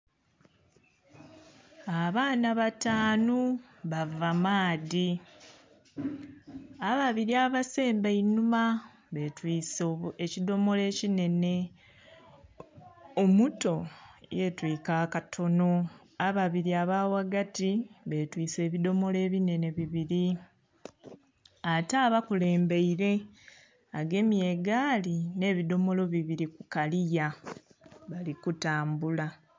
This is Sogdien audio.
Abaana batanu bava maadhi, ababiri abasemba einuma batwiise ekidhomolo ekinhenhe, omuto yetwika akatono, ababiri abaghagati betwise ebidhomolo ebinhenhe bibiri ate abakulembeire agemye egaali nhebidhomolo bibiri kukaliya balikutambula.